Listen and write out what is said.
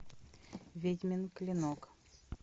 ведьмин клинок